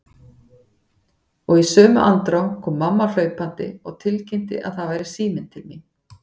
Og í sömu andrá kom mamma hlaupandi og tilkynnti að það væri síminn til mín.